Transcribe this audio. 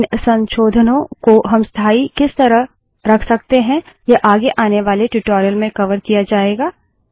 इन संशोधनों को हम स्थाई किस तरह रख सकते हैं यह आगे आने वाले ट्यूटोरियल में कवर किया जायेगा